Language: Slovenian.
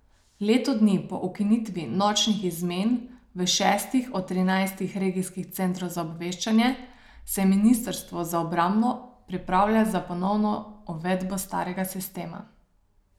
Leto dni po ukinitvi nočnih izmen v šestih od trinajstih regijskih centrov za obveščanje se ministrstvo za obrambo pripravlja na ponovno uvedbo starega sistema.